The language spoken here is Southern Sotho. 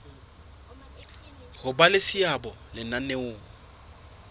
ho ba le seabo lenaneong